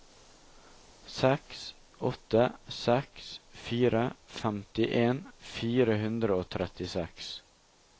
seks åtte seks fire femtien fire hundre og trettiseks